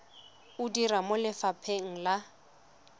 o dira mo lefapheng la